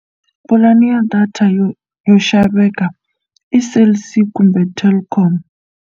Pulani ya data yo yo xaveka i Cell C kumbe Telkom.